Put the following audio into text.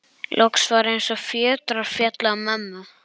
Loks var eins og fjötrar féllu af mömmu.